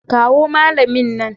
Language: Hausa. Kawo malamin nan.